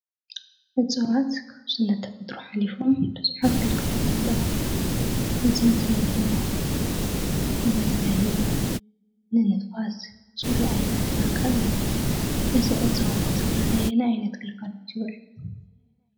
እፅዋት ካብ ስነ ተፈጥሮ ሓሊፎም ብዙሓት ግልጋሎታት ኣለዉዎም። እዚ እንትንብል ድማ ንመፅለሊ፣ ንንፋስ፣ ፅሩይ ኣየር ንምርካብ እዩ። እዚ እፅዋት እዚ ኸ ነየናይ ዓይነት ግልጋሎት ይዉዕል?